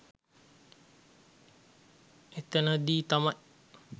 එතනදී තමයි